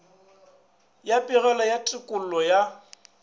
ya pegelo ya tekolo ya